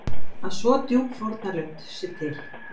Að svo djúp fórnarlund sé til?